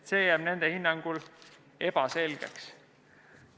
See jääb nende hinnangul ebaselgeks.